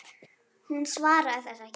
Hún svaraði þessu ekki.